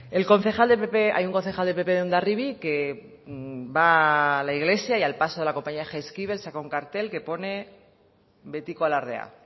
el concejal del pp hay un concejal del pp en hondarribi que va a la iglesia y al paso de la compañía jaizkibel saca un cartel que pone betiko alardea